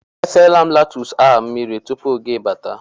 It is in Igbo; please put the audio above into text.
Efela m letus a mmiri tupu gị bata